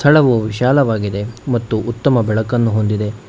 ನಳವು ವಿಶಾಲವಾಗಿದೆ ಮತ್ತು ಉತ್ತಮ ಬೆಳಕನ್ನು ಹೊಂದಿದೆ.